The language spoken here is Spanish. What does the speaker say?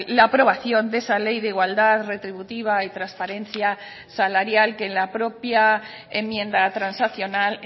la aprobación de esa ley de igualdad retributiva y transparencia salarial que en la propia enmienda transaccional